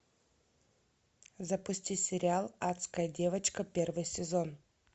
запусти сериал адская девочка первый сезон